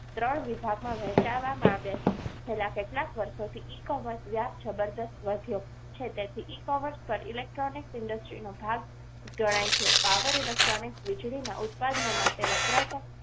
ત્રણ વિભાગમાં વહેંચાવવામાં આવ્યા છે છેલ્લા કેટલાક વર્ષોથી e-commerce વ્યાજ જબરજસ્ત વધ્યો છે તેથી એક અવર્સ પર electronic industries નો ભાગ ગણાય છે પાવર electronic વીજળીના ઉત્પાદનો માટે વપરાતા